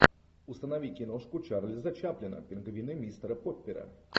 установи киношку чарльза чаплина пингвины мистера поппера